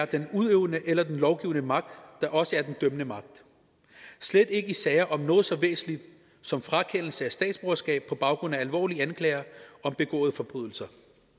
den udøvende eller lovgivende magt også være den dømmende magt slet ikke i sager om noget så væsentligt som frakendelse af statsborgerskab på baggrund af alvorlige anklager om begåede forbrydelser